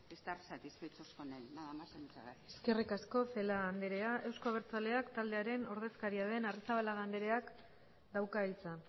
estar satisfechos con él nada más y muchas gracias eskerrik asko celaá anderea euzko abertzaleak taldearen ordezkaria den arrizabalaga andereak dauka hitza